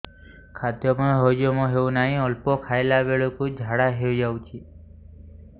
ଖାଦ୍ୟ ହଜମ ହେଉ ନାହିଁ ଅଳ୍ପ ଖାଇଲା ବେଳକୁ ଝାଡ଼ା ହୋଇଯାଉଛି